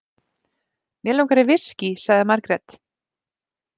Mig langar í viskí, sagði Margrét.